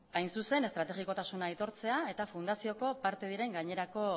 hain zuzen estrategikotasuna aitortzea eta fundazioko parte diren gainerako